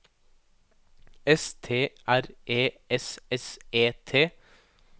S T R E S S E T